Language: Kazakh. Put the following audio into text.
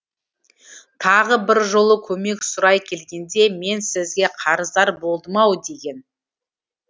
тағы бір жолы көмек сұрай келгенде мен сізге қарыздар болдым ау деген